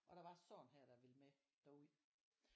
Og der var sådan her der ville med derud